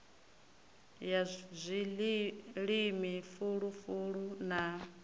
ya zwilimi fulu fulu na